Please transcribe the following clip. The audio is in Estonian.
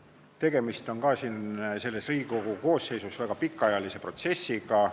Tegemist on selle Riigikogu koosseisu ajal väga pikalt kestnud protsessiga.